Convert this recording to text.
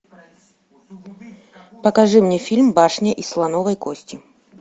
покажи мне фильм башня из слоновой кости